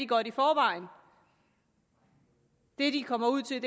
godt i forvejen det de kommer ud til